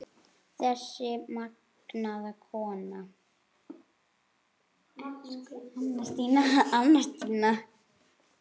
Þessi magnaða kona.